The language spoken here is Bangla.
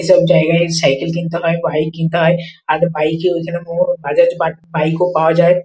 এইসব জায়গায় সাইকেল কিনতে হয় বাইক কিনতে হয় আর বাইক যেন কোন কাজের বাইক ওপাওয়া যায়।